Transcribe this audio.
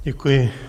Děkuji.